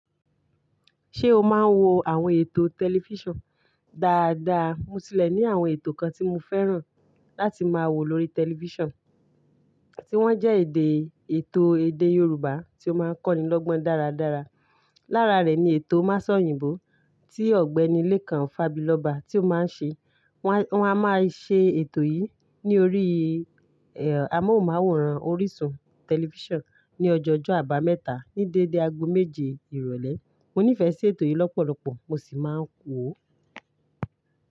Ṣé o máa ń wo àwọn ètò tẹlifíṣàn dáadáa? Mo sílẹ̀ ní àwọn ètò kan tí mo fẹ́ràn láti máa wo lórí tẹlifíṣàn, tí wọ́n jẹ́ èdè ètò èdè Yorùbá tí ó máa ń kọ́nilọ́gbọ́n dáradára. Lára rẹ̀ ni ètò Masọ̀yìnbó tí Ọ̀gbẹ́nilẹ́ kan, Fábilóba, tí ó máa ń ṣe. Wọ́n a máa ṣe ètò yìí ní orí amóhùnmáwòrán orísun tẹlifíṣàn ní ọjọ́ ọjọ́ Àbámẹ́ta ní dédé ago méje ìrọ̀lẹ́. Mo nífẹ̀ẹ́ sí ètò yìí lọ́pọ̀lọpọ̀ mo sì máa ń wó.